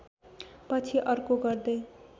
पछि अर्को गर्दै